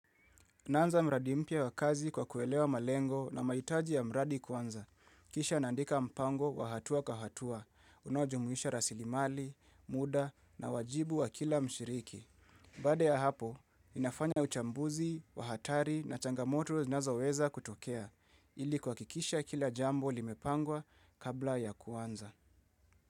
Naanza mradi mpya wa kazi kwa kuelewa malengo na mhiitaji ya mradi kwanza. Kisha naandika mpango wa hatua kwa hatua, unao jumuisha rasili mali, muda na wajibu wa kila mshiriki. Baada ya hapo, inafanya uchambuzi, wa hatari na changamoto zinazo weza kutokea, ili kuhakikisha kila jambo limepangwa kabla ya kuanza.